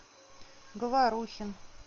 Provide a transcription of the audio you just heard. говорухин